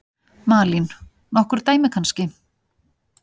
Malín: Nokkur dæmi kannski?